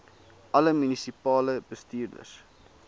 alle munisipale bestuurders